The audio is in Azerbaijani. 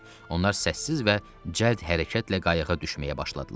Onlar səssiz və cəld hərəkətlə qayığa düşməyə başladılar.